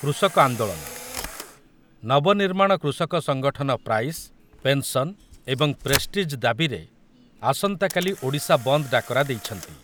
କୃଷକ ଆନ୍ଦୋଳନ, ନବନିର୍ମାଣ କୃଷକ ସଙ୍ଗଠନ ପ୍ରାଇସ୍, ପେନ୍‌ସନ୍ ଏବଂ ପ୍ରେଷ୍ଟିଜ୍ ଦାବିରେ ଆସନ୍ତାକାଲି ଓଡ଼ିଶା ବନ୍ଦ ଡାକରା ଦେଇଛନ୍ତି ।